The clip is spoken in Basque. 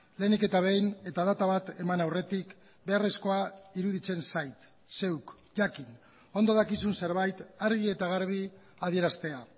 lehenik eta behin eta data bat eman aurretik beharrezkoa iruditzen zait zeuk jakin ondo dakizun zerbait argi eta garbi adieraztea